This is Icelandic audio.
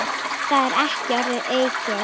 Það er ekki orðum aukið.